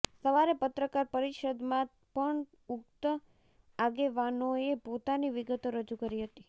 સવારે પત્રકાર પરિષદમાં પણ ઉક્ત આગેવાનોેએ પોતાની વિગતો રજૂ કરી હતી